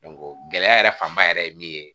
gɛlɛya yɛrɛ fanba yɛrɛ ye min ye